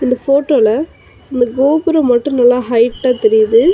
இந்த ஃபோட்டோல இந்த கோபுரம் மட்டு நல்லா ஹைட்டா தெரியுது.